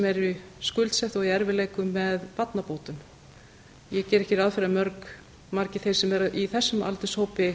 eru skuldsett og í erfiðleikum með barnabótum ég geri ekki ráð fyrir að margir þeir sem eru í þessum aldurshópi